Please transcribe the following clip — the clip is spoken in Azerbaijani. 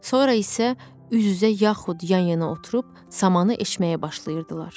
Sonra isə üz-üzə yaxud yan-yana oturub samanı eşməyə başlayırdılar.